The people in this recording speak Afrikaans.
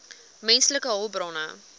menslike hulpbronne